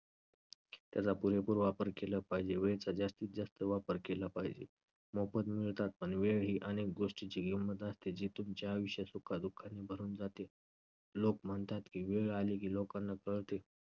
त्याचा पुरेपूर वापर केला पाहिजे, वेळेचा जास्तीतजास्त वापर केला पाहिजे. मोफत मिळतात पण वेळ ही अनेक गोष्टींची किंमत असते जी तुमच्या आयुष्यात सुख-दुःखाने भरून जाते. लोक म्हणतात की वेळ आली की लोकांना कळते